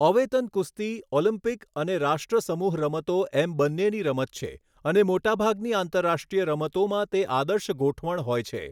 અવેતન કુસ્તી ઓલિમ્પિક અને રાષ્ટ્રસમૂહ રમતો એમ બન્નેની રમત છે અને મોટાભાગની આંતરરાષ્ટ્રીય રમતોમાં તે આદર્શ ગોઠવણ હોય છે.